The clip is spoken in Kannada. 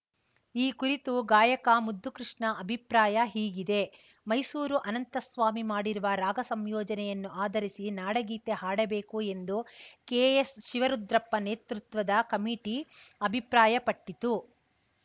ಈ ಕುರಿತು ಗಾಯಕ ಮುದ್ದುಕೃಷ್ಣ ಅಭಿಪ್ರಾಯ ಹೀಗಿದೆ ಮೈಸೂರು ಅನಂತಸ್ವಾಮಿ ಮಾಡಿರುವ ರಾಗ ಸಂಯೋಜನೆಯನ್ನು ಆಧರಿಸಿ ನಾಡಗೀತೆ ಹಾಡಬೇಕು ಎಂದು ಕೆ ಎಸ್‌ ಶಿವರುದ್ರಪ್ಪ ನೇತೃತ್ವದ ಕಮಿಟಿ ಅಭಿಪ್ರಾಯಪಟ್ಟಿತ್ತು